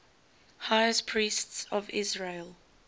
high priests of israel